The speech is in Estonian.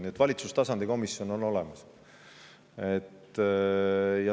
Nii et valitsustasandi komisjon on olemas.